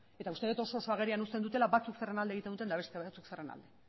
eta uste dut oso oso agerian uzten dutela batzuk zeren alde egiten duten eta beste batzuk zeren alde